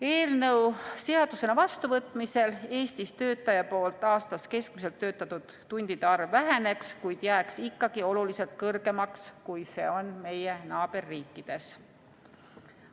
Eelnõu seadusena vastuvõtmisel Eestis töötaja keskmiselt töötatud tundide arv aastas väheneks, kuid jääks ikkagi oluliselt kõrgemaks, kui see on meie naaberriikides.